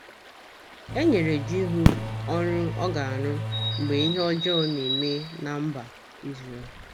E nyere Jihu ọrụ ọ ga - arụ mgbe ihe ọjọọ na - eme ná mba Izrel.